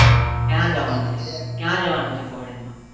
ક્યાં જવા નું છે કુયા જવા નું છે foreign માં